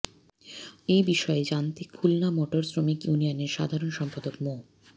এ বিষয়ে জানতে খুলনা মোটর শ্রমিক ইউনিয়নের সাধারণ সম্পাদক মো